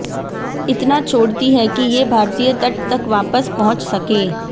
इतना छोड़ती है कि ये भारतीय तट तक वापस पहुंच सकें